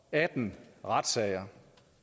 atten retssager